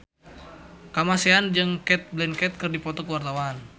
Kamasean jeung Cate Blanchett keur dipoto ku wartawan